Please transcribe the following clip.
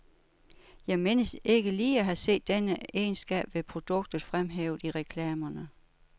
Jeg mindes ikke lige at have set denne egenskab ved produktet fremhævet i reklamerne.